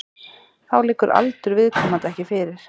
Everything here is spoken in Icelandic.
Þá liggur aldur viðkomandi ekki fyrir